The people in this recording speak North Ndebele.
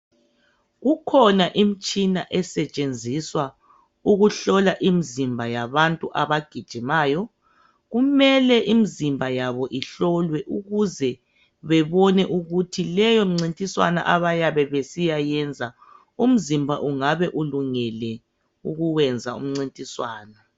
Kukhona imtshina osetshenziswa ukuhlola imizimba yabantu abagijimayo. Kumele imizimba yabo ihlolwe ukuze bebone ukuthi leyo mncintswano abayebe besiya yenza umzimba ungabe ulungele ukwenza umncintiswano.